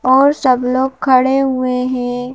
और सब लोग खड़े हुए हैं।